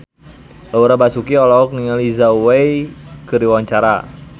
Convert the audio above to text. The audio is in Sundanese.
Laura Basuki olohok ningali Zhao Wei keur diwawancara